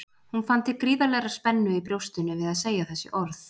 Hún fann til gríðarlegrar spennu í brjóstinu við að segja þessi orð.